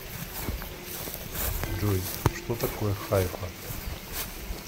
джой что такое хайфа